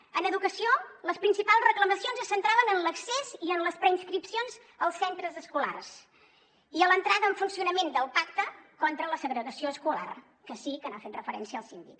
en educació les principals reclamacions es centraven en l’accés i en les preinscripcions als centres escolars i a l’entrada en funcionament del pacte contra la segregació escolar que sí que hi ha fet referència el síndic